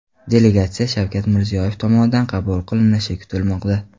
Delegatsiya Shavkat Mirziyoyev tomonidan qabul qilinishi kutilmoqda.